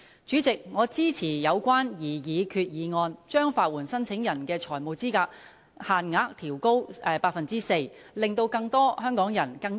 主席，我支持有關擬議決議案，將法援申請人的財務資格限額調高 4%， 令更多香港人和市民能夠受惠。